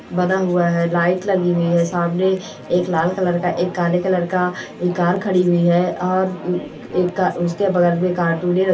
बना हुआ है लाइट लगी हुई है सामने एक लाल कलर का एक काले कलर का एक कार खड़ी हुई है और एक क उसके बगल में --